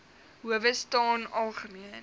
howe staan algemeen